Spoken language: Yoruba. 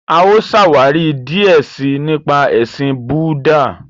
A ó ṣàwári díẹ sii nípa ẹṣin Búúdà.